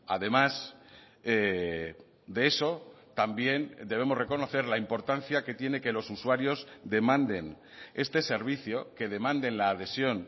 además de eso también debemos reconocer la importancia que tiene que los usuarios demanden este servicio que demanden la adhesión